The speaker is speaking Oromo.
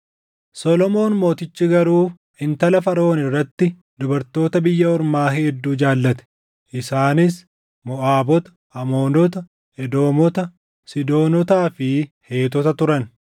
Solomoon Mootichi garuu intala Faraʼoon irratti dubartoota biyya ormaa hedduu jaallate; isaanis Moʼaabota, Amoonota, Edoomota, Siidoonotaa fi Heetota turan.